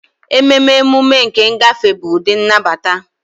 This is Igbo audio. Ememe emume nke ngafe bụ ụdị nnabata.